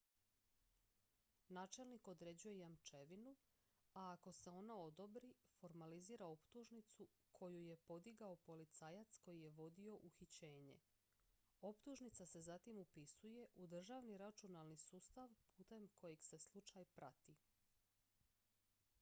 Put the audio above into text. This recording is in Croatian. načelnik određuje jamčevinu a ako se ona odobri formalizira optužnicu koju je podigao policajac koji je vodio uhićenje optužnica se zatim upisuje u državni računalni sustav putem kojeg se slučaj prati